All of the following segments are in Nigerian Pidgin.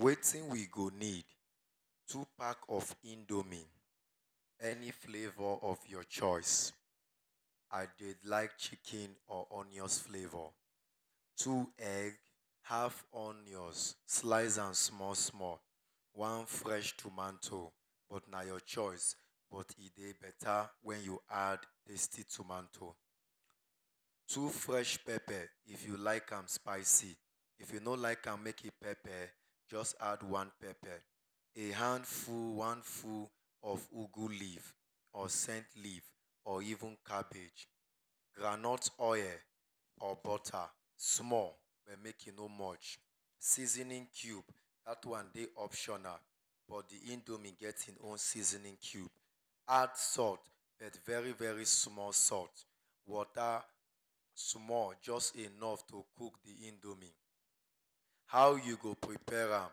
Wetin we go need, Two pack of Indomie Any flavor of your choice. I dey like chicken or onions flavor. Two egg, half onions, slice am small small. wan fresh tomato, but na your choice, but e dey better wen you add tomato. Two fresh pepper, if you like am spicy If u no like am make e pepper, Just add one pepper, a hand full one full of ugu leaf or scent leaf or even cabbage. Groundnut oil or butter, small, make e no much. Seasoning cube, that one, dey optional, but d Indomie get hin own seasoning cube. Add salt, but very, very small salt. Water, small, just enough to cook the Indomie. How you go prepare am?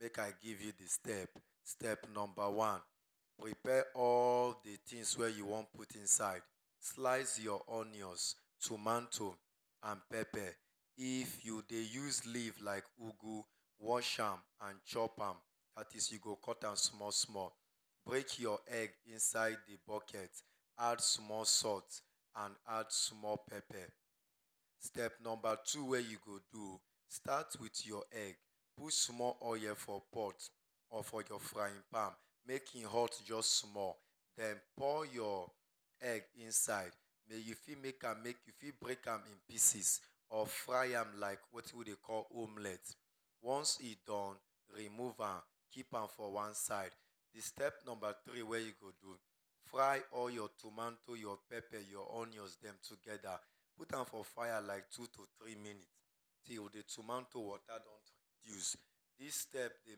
Make I give you d step. Step number wan, prepare all the things wey you wan put inside. Slice your onions, tomato and pepper. If you dey use leaf like ugu, wash am and chop am, that is you go cut ham small small. Break your egg inside the bucket, Add small salt and add small pepper. Step number two wey you go do o. Start with your egg. Put small oil for pot or for your frying pan, Make e hot, just small. Then pour your egg inside. Den you fit make am U fit break am in pieces or fry am like wetin we dey call omelette. Once e done, remove am keep am for one side. Step number three wey you go do. Fry all your tomanto, your pepper, your onions, dem together. Put am for fire like two to three minutes Till the tomanto water don reduce. This step dey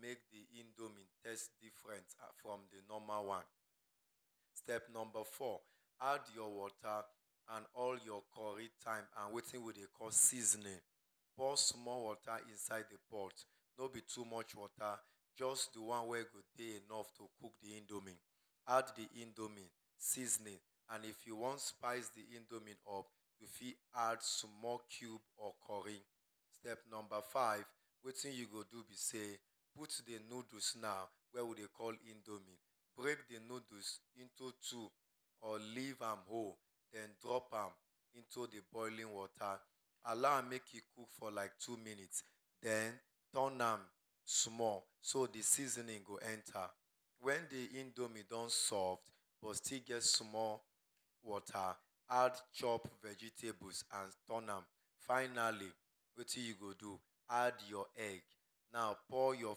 make the indomie taste different from the normal one. Step number four Add your water and all your curry, thyme and wetin we dey call seasoning. Pour small water inside d pot. No be too much water. Just d one way go dey enough to cook d indomie. Add d indomie seasoning. And if you wan, spice d indomie up U fit add small cube of curry, step number five, wetin you go do be sey, put d noodles now, wey we Dey call indomie, break d noodles into two, or leave am whole, den drop am into d boiling water. Allow am make e cook for like two minutes, den turn am small so d seasoning go enta. Wen d indomie don soft, but still get small water Add chop vegetables and turn am. Finally, wetin you go do add your egg. Now pour your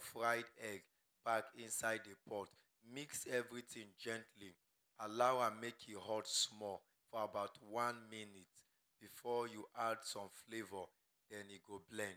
fried egg back inside the pot. Mix everything gently. Allow am make e hot small for about wan minute before you add some flavor, then e go blend.